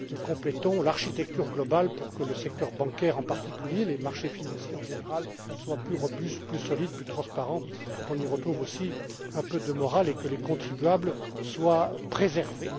Nous complétons l'architecture globale pour que le secteur bancaire, en particulier, et les marchés financiers, en général, soient plus robustes, plus solides, plus transparents, qu'on y retrouve aussi un peu de morale et que les contribuables soient préservés.